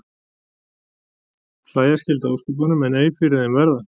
Hlæja skyldi að ósköpunum en ei fyrir þeim verða.